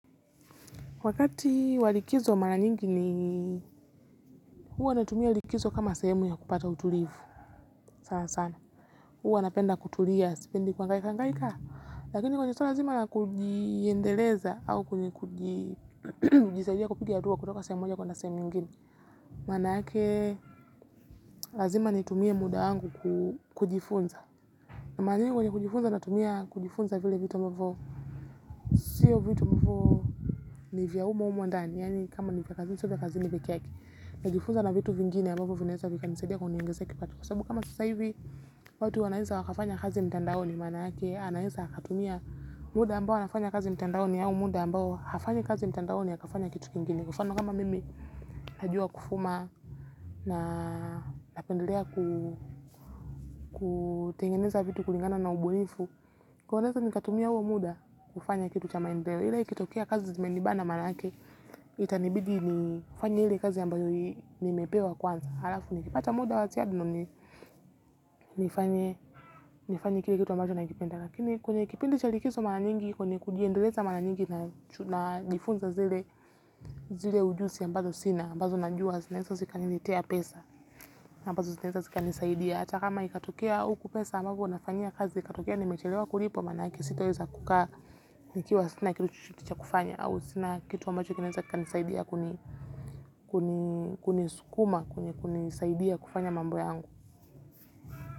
Wakati wa likizo mara nyingi, huwa natumia likizo kama sehemu ya kupata utulivu sana sana, huwa napenda kutulia, sipendi kuhangaika, hangaika, lakini kwenye sio lazima na kujiendeleza au kujisaidia kupiga dua kutoka sehemu moja kuenda sehemu nyingine, maana yake lazima nitumie muda wangu kujifunza. Na mara nyingi kwenye kujifunza natumia kujifunza vile vitu ambavo siyo vitu ambavo ni vya humo humo ndani. Yaani kama ni vya kazini sio vya kazini peke yake. Najifunza na vitu vingine ambavo vinaeza vikanisaidia kuniongezea kipato. Kwa sabu kama sasa hivi watu wanaeza wakafanya kazi mtandaoni maanake anaeza akatumia muda ambao anafanya kazi mtandaoni au muda ambao hafanyi kazi mtandaoni akafanya kitu kingine. Kwa mfano kama mimi najua kufuma na napendelea kutengeneza vitu kulingana na ubunifu kwaio naeza nikatumia huo muda kufanya kitu cha maendeleo ila ikitokea kazi imenibana maanake itanibidi nifanye ile kazi ambayo nimepewa kwanza halafu nikipata muda wa ziada ndio ni nifanye kile kitu ambacho nakipenda. Lakini kwenye kipindi cha rikiso mara nyingi kwenye kujiendeleza mara nyingi najifunza zile ujuzi ambazo sina ambazo najua zinaeza zikaniletea pesa ambazo zitaeza zikanisaidia hata kama ikatokea huku pesa ambapo nafanyia kazi ikatokea nimechelewa kulipwa maanake sitoweza kukaa nikiwa sina kitu chochote cha kufanya au sina kitu ambacho kinaeza kikanisaidia kunisukuma kunisaidia kufanya mambo yangu.